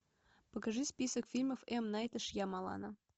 покажи список фильмов м найта шьямалана